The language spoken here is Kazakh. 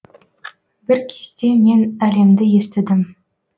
бір кезде мен әлемді естідім